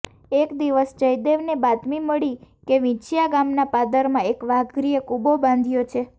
એક દિવસ જયદેવને બાતમી મળી કે વિંછીયા ગામના પાદરમાં એક વાઘરીએ કુબો બાંધ્યો છે